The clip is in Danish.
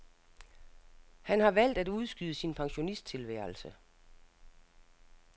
Han har valgt at udskyde sin pensionisttilværelse.